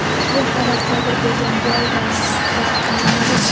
Ushbu holat sodir bo‘lgan joy va vaqt nomaʼlum.